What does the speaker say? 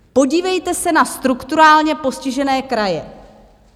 Podívejte se na strukturálně postižené kraje.